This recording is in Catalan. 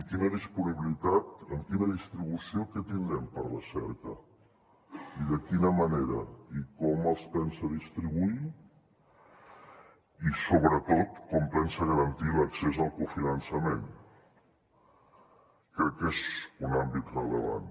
quina disponibilitat amb quina distribució què tindrem per recerca i de quina manera i com els pensa distribuir i sobretot com pensa garantir l’accés al cofinançament crec que és un àmbit rellevant